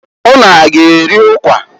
Ụnụ a g'eri ụkwa?